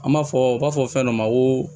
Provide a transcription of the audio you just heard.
An b'a fɔ u b'a fɔ fɛn dɔ ma ko